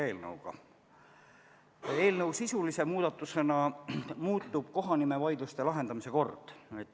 Eelnõu sisulise muudatusena muutub kohanimevaidluste lahendamise kord.